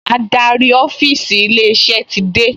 Adarí ọ́fíìsì ilé-iṣẹ́ ti dé